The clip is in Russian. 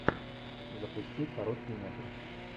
запусти короткий метр